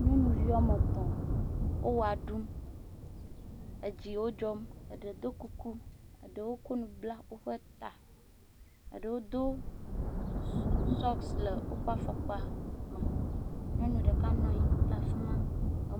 Nyɔnuvi woame tɔ̃. wo wɔa ɖum, edzi wo dzɔm, eɖe do kuku, eɖe kɔ nu bla woƒe ta, eɖewo do sɔksi le woƒe afɔkpa me. Nyɔnu ɖeka nɔ anyi ɖe afi ma.